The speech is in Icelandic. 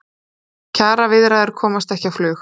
Kjaraviðræður komast ekki á flug